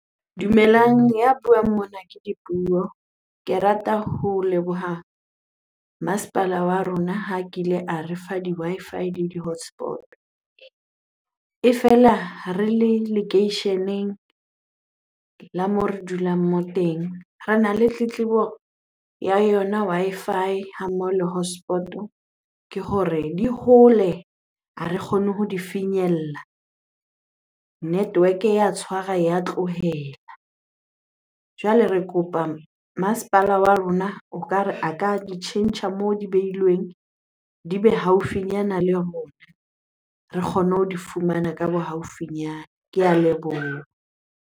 Dumelang, ya buang mona ke Dipuo. Ke rata ho leboha masepala wa rona ha kile a re fa di-Wi-Fi le di-hotspot-o. E fela re le lekeisheneng la moo re dulang moo teng rena le tletlebo ya yona Wi-Fi ha mmoho le hotspot-o. Ke hore di hole, ha re kgone ho di finyella, network ya tshwara ya tlohela. Jwale re kopa masepala wa rona o ka re a ka di tjhentjha moo di behilweng, di be haufinyana le rona re kgone ho di fumana ka bo haufinyana. Ke a leboha.